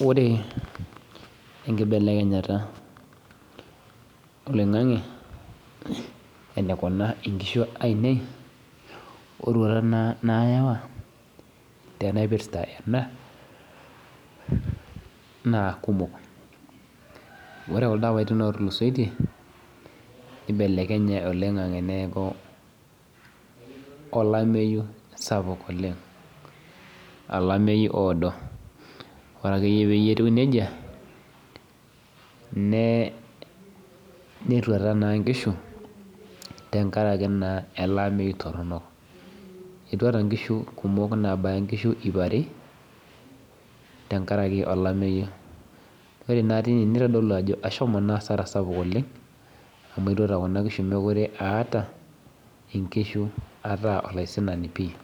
Ore enkibeleknyata oloingangi enikuna nkishu aainei ororuat nayawa naipirta ena na kumok ore kuldo apaitin otulusoitie nibelekenye oleng neaku sapuk oleng olameyu oodo orea ake peaku nejia netuata nkishu tenkaraki elebameyu toronok etuata nkishu kumok nabaya nkishu ip are tenkaraki olameyu ore na tine nitodolu ajo ashomo asara sapuk oleng amu etuata kunabkishu mekute aata ataa olaisinani pii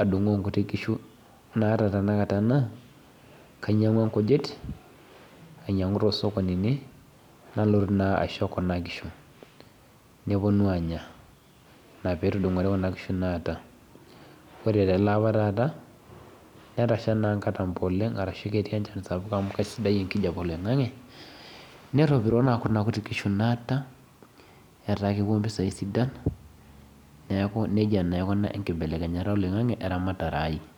adungoo nkuti kishunaata tanakata na kainyangua nkishu ainyangu tosokonini nalotu na aisho kunabkishu neponu anya ore teleapa netasha enchan sapuk amu kesidai enkijape oloingangi netopiro kuna kishu naata ataa keeta mpisai sidan na nejia etiu enkibelekenyata oloingangi weramatare aai